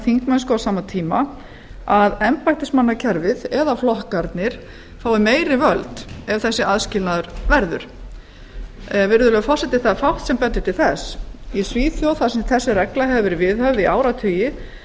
þingmennsku á sama tíma að embættismannakerfið eða flokkarnir fái meiri völd ef þessi aðskilnaður verður virðulegur forseti það er fátt sem bendir til þess í svíþjóð þar sem þessi regla hefur verið viðhöfð í áratugi hefur